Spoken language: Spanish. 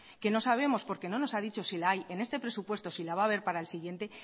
que no sabemos porque no nos ha dicho si la hay en este presupuesto y si la va haber para el siguiente